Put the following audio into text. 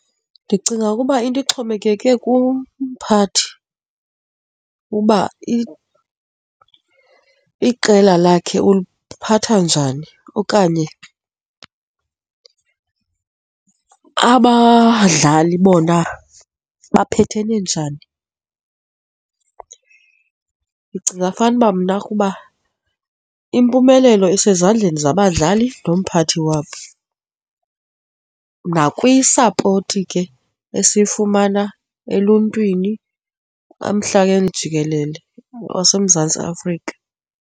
Ndicinga ukuba into ixhomekeke kumphathi uba iqela lakhe uliphatha njani okanye abadlali bona baphethe njani. Ndicinga fanuba mna kuba impumelelo isezandleni zabadlali nomphathi wabo, nakwisapoti ke esifumana eluntwini, emhlabeni jikelele waseMzantsi Afrika.